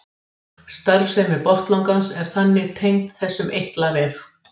Starfsemi botnlangans er þannig tengd þessum eitlavef.